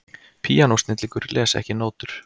Píanósnillingur les ekki nótur